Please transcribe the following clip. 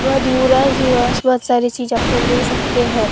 बहुत सारी चीजें आपको मिल सकते हैं।